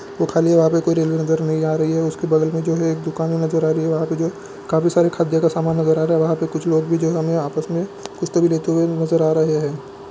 वो खाली है वहां पे कोई रेले नजर नहीं आ रही है उसके बगल में जो है एक दुकानें नजर आ रही है वहां पे जो काफी सारे के सामान नजर आ रहे है वहां पे कुछ लोग भी जो है हमें आपस में कुछ तो भी लेते हुए नजर आ रहे है।